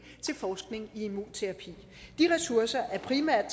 til forskning i immunterapi de ressourcer er primært